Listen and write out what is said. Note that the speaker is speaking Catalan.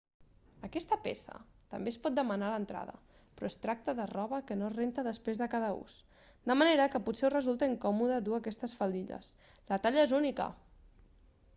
aquesta peça també es pot demanar a l'entrada però es tracta de roba que no es renta després de cada ús de manera que potser us resulta incòmoda dur aquestes faldilles la talla és única